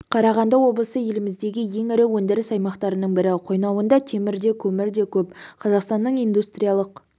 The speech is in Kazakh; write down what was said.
қарағанды облысы еліміздегі ең ірі өндіріс аймақтарының бірі қойнауында темір де көмір де көп қазақстанның индустриялық